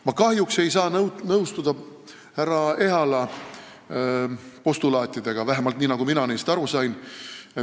Ma kahjuks ei saa nõustuda härra Ehala postulaatidega, vähemalt niisugustena, nagu mina neist aru sain.